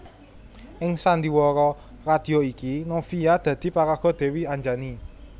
Ing sandiwara radio iki Novia dadi paraga Dewi Anjani